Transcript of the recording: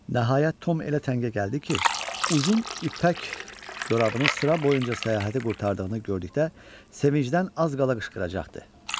Nəhayət Tom elə təngə gəldi ki, uzun ipək corabının sıra boyunca səyahəti qurtardığını gördükdə sevincdən az qala qışqıracaqdı.